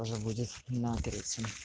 тоже будет на третьем